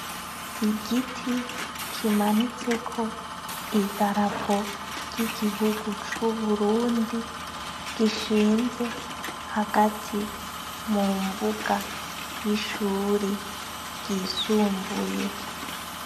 Igiti kimanitseko idarapo ry'igihugu c'Uburundi gishinze hagati mu mbuga y'ishuri ryisumbuye.